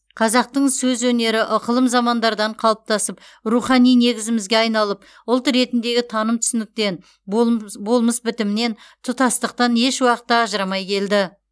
қазақтың сөз өнері ықылым замандардан қалыптасып рухани негізімізге айналып ұлт ретіндегі таным түсініктен болмс болмыс бітімнен тұтастықтан еш уақытта ажырамай келді